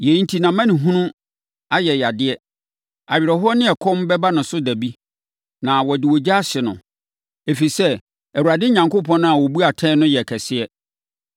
Yei enti, nʼamanehunu a ɛyɛ yadeɛ awerɛhoɔ ne ɛkɔm bɛba ne so da bi. Na wɔde ogya ahye no, ɛfiri sɛ, Awurade Onyankopɔn a ɔbu no atɛn no yɛ kɛseɛ.